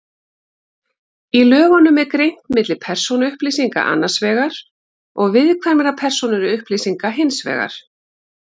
Í lögunum er greint milli persónuupplýsinga annars vegar og viðkvæmra persónuupplýsinga hins vegar.